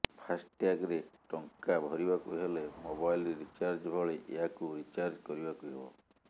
ଫାସ ଟ୍ୟାଗ ରେ ଟଙ୍କା ଭରିବାକୁ ହେଲେ ମୋବାଇଲ ରିଚାର୍ଜ ଭଳି ଏହାକୁ ରିଚାର୍ଜ କରିବାକୁ ହେବ